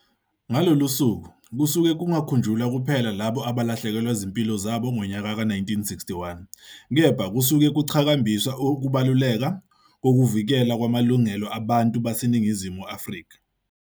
Ngalolu sauku kusuke kungakhunjulwa kuphela labo abahlekelwa zimpilo zabo ngonyaka wei-1961 kepha kususkue kuqhakambiswa ukubaluleka kokuvikelwa kwamalungelo abantu baseNingizimu Afrika.